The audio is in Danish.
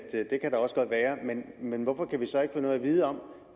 men hvorfor kan vi så ikke få noget at vide om